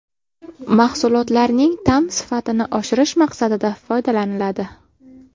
Mahsulotlarning ta’m sifatini oshirish maqsadida foydalaniladi.